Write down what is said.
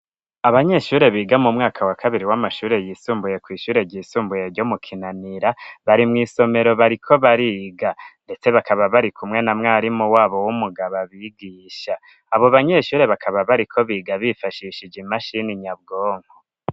Abanyeshure biga mu mwaka wa kabiri w'amashure yisumbuye kw'ishure ryisumbuye ryo mu Kinanira bari mw'somero bariko bariga ndetse bakaba bari kumwe na mwarimu wabo w'umugabo abigisha abo banyeshure bakaba bariko biga bifashishije imashini nyabwonko